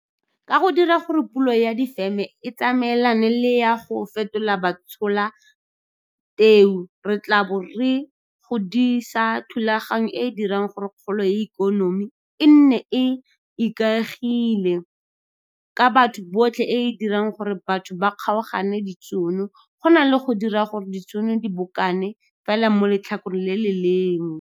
Ka go dira gore pulo ya difeme e tsamaelane le ya go fetola batshola teu, re tla bo re godisa thulaganyo e e dirang gore kgolo ya ikonomi e nne e e ikaegileng ka batho botlhe e e dirang gore batho ba kgaogane ditšhono go na le go dira gore ditšhono di bokane fela mo letlhakoreng le le lengwe.